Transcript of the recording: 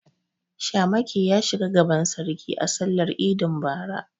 Shamaki ya shiga gaban sarki a sallar idin bara.